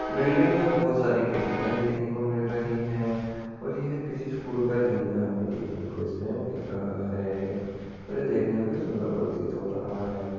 Building मे हमे बहुत सारी खिड़किया देखने को मिल रही है और ये किसी स्कूल का एरिया हमे देखने को इसमें मिल रहा है और ये देखने में सुंदर प्रतीत हो रहा है।